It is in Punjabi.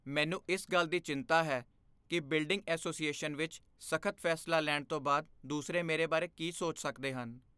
ਮੈਨੂੰ ਇਸ ਗੱਲ ਦੀ ਚਿੰਤਾ ਹੈ ਕਿ ਬਿਲਡਿੰਗ ਐਸੋਸੀਏਸ਼ਨ ਵਿੱਚ ਸਖ਼ਤ ਫੈਸਲਾ ਲੈਣ ਤੋਂ ਬਾਅਦ ਦੂਸਰੇ ਮੇਰੇ ਬਾਰੇ ਕੀ ਸੋਚ ਸਕਦੇ ਹਨ।